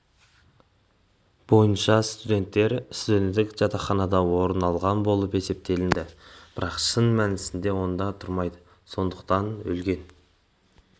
бойынша студенттер студенттік жатақханада орын алған болып есептеледі бірақ шын мәнісінде онда тұрмайды сондықтан өлген